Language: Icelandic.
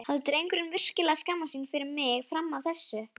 Hafði drengurinn virkilega skammast sín fyrir mig fram að þessu?